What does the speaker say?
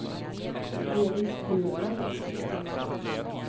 Elis Burman